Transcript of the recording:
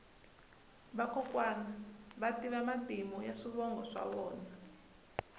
vakokwani va tiva matimu ya swivongo swa vona